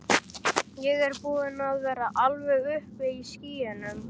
Ég er búinn að vera alveg uppi í skýjunum.